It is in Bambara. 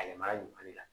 A yamaruya ɲuman de la